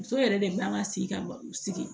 Muso yɛrɛ de b'an ka sigi ka sigi